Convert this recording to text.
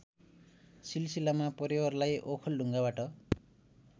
सिलसिलामा परिवारलाई ओखलढुङ्गाबाट